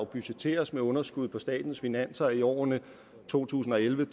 budgetteres med underskud på statens finanser i årene to tusind og elleve